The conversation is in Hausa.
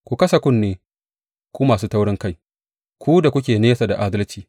Ku kasa kunne, ku masu taurinkai, ku da kuke nesa da adalci.